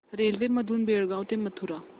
railway मधून बेळगाव ते मथुरा